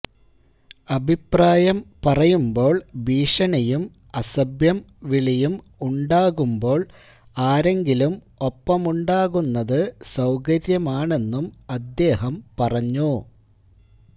അഭിപ്രായം പറയുമ്പോള് ഭീഷണിയും അസഭ്യം വിളിയും ഉണ്ടാകുമ്പോള് ആരെങ്കിലും ഒപ്പമുണ്ടാകുന്നത് സൌകര്യമാണെന്നും അദേഹം പറഞ്ഞു